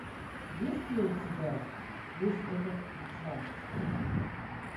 есть ли у тебя весь этот джаз